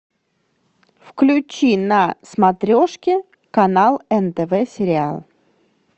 включи на смотрешке канал нтв сериал